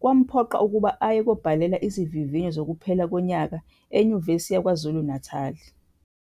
kwamphoqa ukuba aye kobhalela izivivinyo zokuphela konyaka eNyuvesi yakwaZulu-Natali.